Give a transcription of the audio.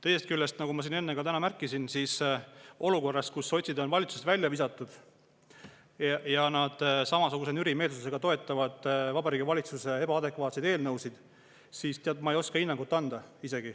Teisest küljest, nagu ma enne siin märkisin, olukorras, kus sotsid on valitsusest välja visatud, aga nad samasuguse nürimeelsusega toetavad Vabariigi Valitsuse ebaadekvaatseid eelnõusid, ma ei oska isegi hinnangut anda.